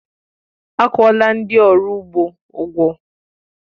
Akwuọla ndị ọrụ ugbo ụgwọ